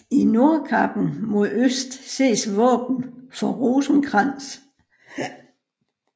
I nordkappen mod øst ses våben for Rosenkrantz